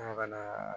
Ala ka na